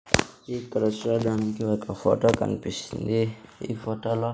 ఈ కళాశాల నుంచి ఒక ఫోటో కన్పిస్తుంది ఈ ఫోటో లో--